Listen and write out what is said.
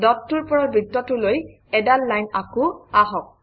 ডটটোৰ পৰা বৃত্তটোলৈ এডাল লাইন আকোঁ আহক